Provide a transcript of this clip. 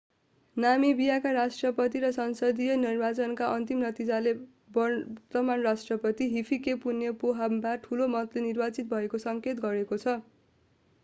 नामिबियाका राष्ट्रपति र संसदीय निर्वाचनका अन्तिम नतिजाले वर्तमान राष्ट्रपति hifikepunye pohamba ठूलो मतले निर्वाचित भएको सङ्केत गरेको छ